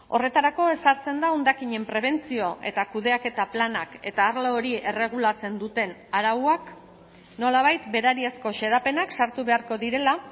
horretarako ezartzen da hondakinen prebentzio eta kudeaketa planak eta arlo hori erregulatzen duten arauak nolabait berariazko xedapenak sartu beharko direla